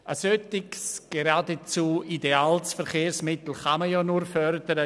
Ein solches, geradezu ideales Verkehrsmittel kann man nur fördern.